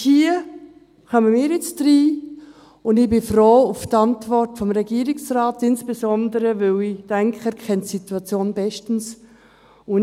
Hier kommen wir jetzt ins Spiel, und ich bin froh um die Antwort des Regierungsrates, insbesondere, weil ich denke, dass er die Situation bestens kennt.